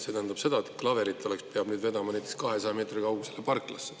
See tähendab seda, et klaverit peab nüüd vedama näiteks 200 meetri kaugusele parklasse.